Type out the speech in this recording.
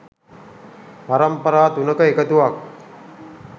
පරම්පරා තුනක එකතුවක්